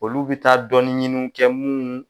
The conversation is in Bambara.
Olu be taa dɔɔnin ɲiniw kɛ munnu